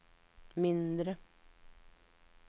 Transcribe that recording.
mindre